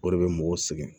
O de bɛ mɔgɔw sɛgɛn